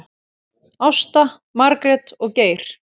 Ásta, Margrét og Geir.